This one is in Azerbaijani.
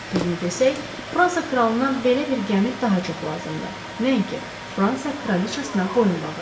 Düzünü desək, Fransa kralına belə bir gəmi daha çox lazımdır, nəinki Fransa kraliçasına boyunbağı.